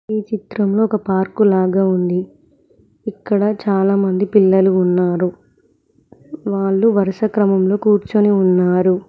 ఈ చిత్రంలో ఒక పార్కు లాగా ఉంది ఇక్కడ చాలామంది పిల్లలు ఉన్నారు వాళ్లు వరుస క్రమంలో కూర్చుని ఉన్నారు.